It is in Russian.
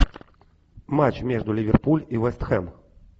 матч между ливерпуль и вест хэм